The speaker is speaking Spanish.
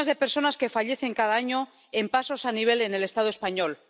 las decenas de personas que fallecen cada año en pasos a nivel en el Estado español.